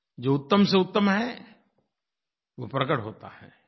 जो उत्तम से उत्तम है वो प्रकट होता है